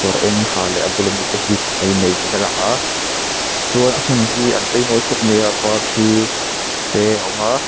a eng ha leh a bula mi te hi an in nei ni in a lang a chuan a hmun hi an chei mawi khawp mai a par thi te a awm a.